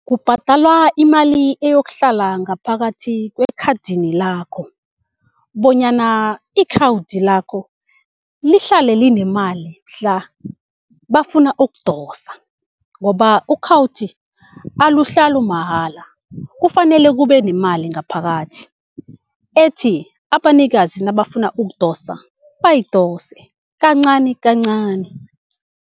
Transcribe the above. Kubhadalwa imali eyokuhlala ngaphakathi kwekhadini lakho, bonyana ikhawudi lakho lihlale linemali mhla bafuna ukudosa ngoba ukhawuthi aluhlalu mahala. Kufanele kube nemali ngaphakathi, ethi abanikazi nabafuna ukudosa, bayidose kancani kancani.